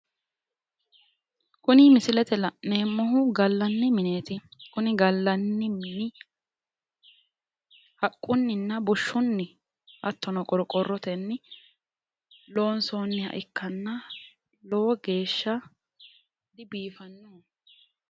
Kuni misilete la'neemmohu gallanni mineeti kuni gallanni mini haqqunninna bushshunni hattono qorqqorrotenni loonsoonniha ikkanna lowo geeshsha dibiiffanno.